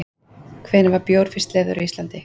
Hvenær var bjór fyrst leyfður á Íslandi?